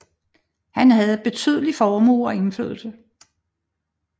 Han havde betydelig formue og indflydelse